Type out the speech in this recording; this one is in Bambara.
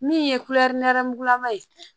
Min ye kulɛri nɛrɛmugulama ye